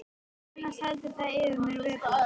Annars heldur það fyrir mér vöku.